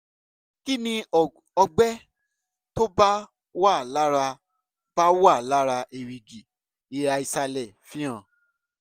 kí ni ọgbẹ́ tó bá wà lára bá wà lára erìgì ìhà ìsàlẹ̀ fi hàn?